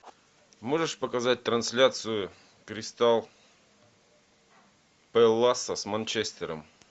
можешь показать трансляцию кристал пэласа с манчестером